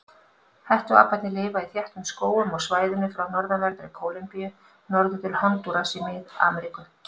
Hettuaparnir lifa í þéttum skógum á svæðinu frá norðanverðri Kólumbíu norður til Hondúras í Mið-Ameríku.